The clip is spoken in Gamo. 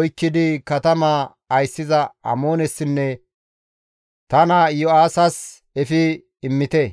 oykkidi katamaa ayssiza Amoonessinne ta naa Iyo7aasas efi immite.